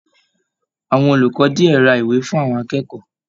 Àwọn olùkọ diẹ rà ìwé fún àwọn akẹ́kọ̀ọ́.